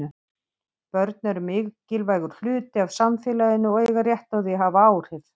Börn eru mikilvægur hluti af samfélaginu og eiga rétt á því að hafa áhrif.